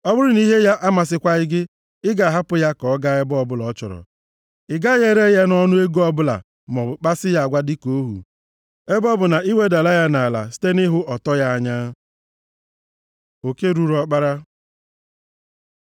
Ọ bụrụ na ihe ya amasịkwaghị gị, ị ga-ahapụ ya ka ọ gaa ebe ọbụla ọ chọrọ. Ị gaghị ere ya nʼọnụ ego ọbụla maọbụ kpasi ya agwa dịka ohu, ebe ọ bụ na ị wedala ya nʼala site nʼịhụ ọtọ ya anya. Oke ruru ọkpara